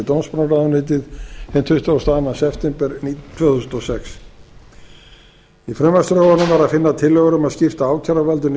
dómsmálaráðuneytið hinn tuttugasta og annan september tvö þúsund og sex í frumvarpsdrögunum var að finna tillögur um að skipta ákæruvaldinu í